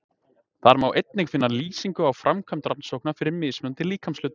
Þar má einnig finna lýsingu á framkvæmd rannsókna fyrir mismunandi líkamshluta.